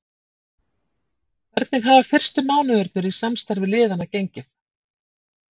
Hvernig hafa fyrstu mánuðirnir í samstarfi liðanna gengið?